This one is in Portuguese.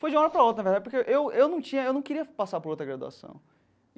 Foi de uma hora para outra, na verdade, porque eu eu não tinha eu não queria passar por outra graduação.